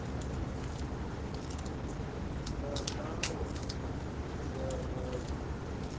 na nawa ḓi sa vhavhi